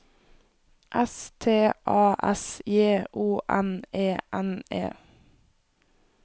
S T A S J O N E N E